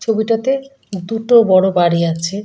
ছবিতাতে দুটো বড়ো বাড়ি আছে।